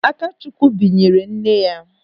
Akachukwu binyere nne ya.